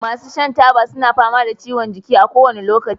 masu shan taba suna fama da ciwon jiki kowane lokaci